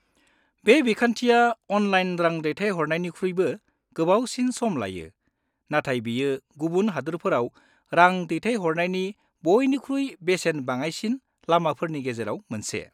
बे बिखान्थिया अनलाइन रां दैथायहरनायनिख्रुइबो गोबावसिन सम लायो, नाथाय बेयो गुबुन हादोरफोराव रां दैथायहरनायनि बयनिख्रुइ बेसेन बाङाइसिन लामाफोरनि गेजेराव मोनसे।